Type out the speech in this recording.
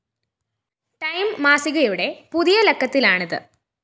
time മാസികയുടെ പുതിയ ലക്കത്തിലാണിത്